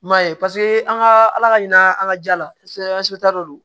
I m'a ye paseke an ka ala ka ɲina an ka ja laseta dow